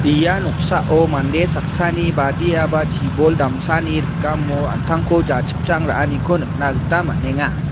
ia noksao mande saksani badiaba chibol damsani rikamo an·tangko jachipchang ra·aniko nikna gita man·enga.